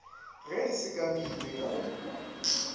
ga di sekamele ka go